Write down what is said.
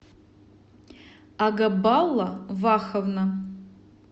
агабалла ваховна